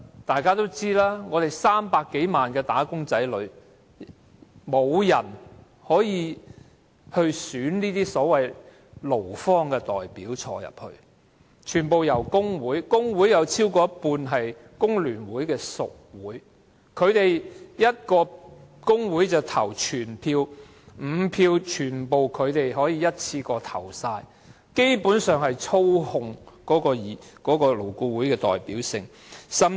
勞方代表不是由300多萬名"打工仔女"中選出，而是全部由工會投票產生，而工會有超過一半是工聯會的屬會，一個工會投一票，就可以選出全部5名勞方代表，基本上操控了勞顧會的代表性。